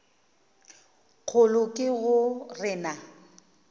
kgolo ke go re na